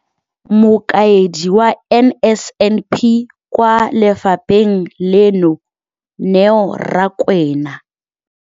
Mokaedi wa NSNP kwa lefapheng leno, Neo Rakwena,